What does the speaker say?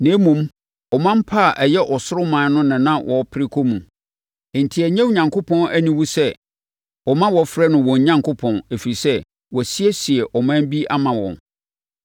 Na mmom, ɔman pa a ɛyɛ ɔsoro ɔman no na na wɔpere kɔ mu. Enti, ɛnyɛ Onyankopɔn aniwu sɛ ɔma wɔfrɛ no wɔn Onyankopɔn, ɛfiri sɛ, wasiesie ɔman bi ama wɔn.